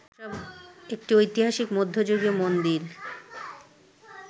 একটি ঐতিহাসিক মধ্যযুগীয় মন্দির